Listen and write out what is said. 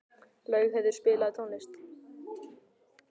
Laugheiður, spilaðu tónlist.